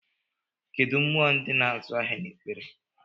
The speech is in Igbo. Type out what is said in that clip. Kedụ mmụọ ndị na-azụ ahịa na-ekpere?